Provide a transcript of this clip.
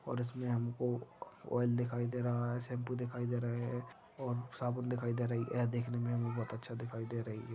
और इसमें हमको ऑयल दिखाई दे रहा है शैम्पू दिखाई दे रहे है और साबुन दिखाई दे रही यह देखने मे भी बहुत अच्छा दिखाई दे रही है।